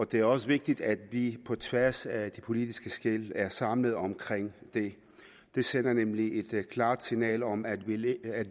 det er også vigtigt at vi på tværs af de politiske skel er samlet omkring det det sender nemlig et klart signal om at